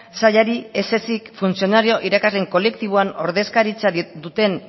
sailari ez ezik funtzionario irakasleen kolektiboan ordezkaritza duten